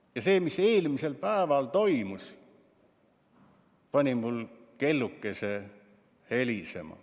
Ja see, mis eelmisel päeval toimus, pani mul kellukese helisema.